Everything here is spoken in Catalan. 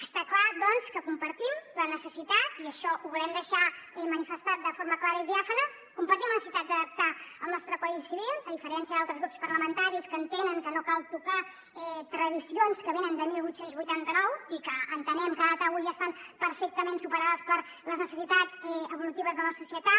està clar doncs que compartim la necessitat i això ho volem deixar manifestat de forma clara i diàfana d’adaptar el nostre codi civil a diferència d’altres grups parlamentaris que entenen que no cal tocar tradicions que venen de divuit vuitanta nou i que entenem que a data d’avui estan perfectament superades per les necessitats evolutives de la societat